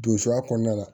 Donsoya kɔnɔna la